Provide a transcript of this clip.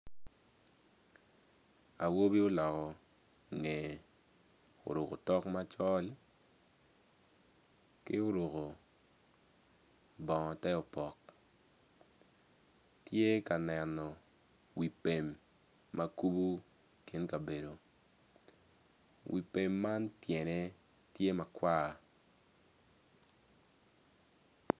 Awobi oloko ngeye oruko otok macol ki oruko bongo teopok tye ka neno wi pem ma kubo kin kabedo wi pem man tyene tye makwar.